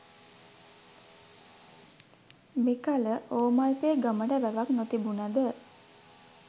මෙකල ඕමල්පේ ගමට වැවක් නොතිබුණද